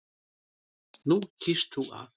Nú kýst þú að.